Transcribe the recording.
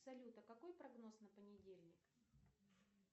салют а какой прогноз на понедельник